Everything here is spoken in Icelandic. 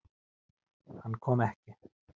Hann kom ekki.